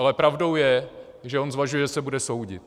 Ale pravdou je, že on zvažuje, že se bude soudit.